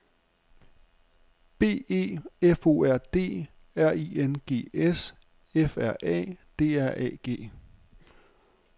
B E F O R D R I N G S F R A D R A G